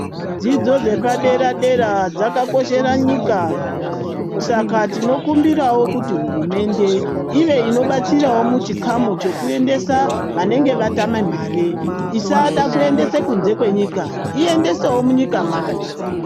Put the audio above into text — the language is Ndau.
Dzidzo dzepadera dera dzakakoshera nyika saka tinokumbirawo kuti hurumende ive inobatsirawo muchikamu chekuendesa vanenge vatame mare isada kuendesa kunze kwenyika iyendesewo munyika mwayo.